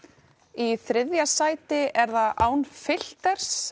í þriðja sæti er það án